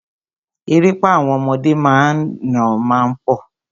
Erépá àwọn ọmọdé míràn má ń pọ̀.